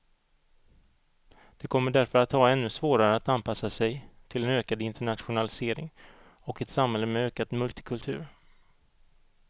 De kommer därför att ha ännu svårare att anpassa sig till en ökad internationalisering och ett samhälle med ökad multikultur.